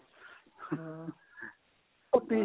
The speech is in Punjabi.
ਹਾਂ ਕੁਪੀ